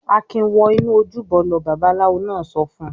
"Akin wọ inú ojúbọ lọ!" Babaláwo náà sọ fún un.